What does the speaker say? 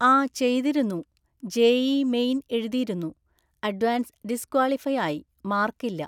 ആ ചെയ്തിരുന്നു. JEE main എഴുതിയിരുന്നു, അഡ്വാൻസ് ഡിസ്ക്വാളിഫയ് ആയി, മാർക്ക് ഇല്ല.